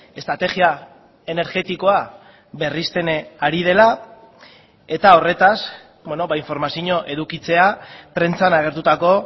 estrategia energetikoa berristen ari dela eta horretaz informazio edukitzea prentsan agertutako